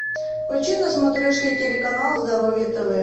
включи на смотрешке телеканал здоровье тв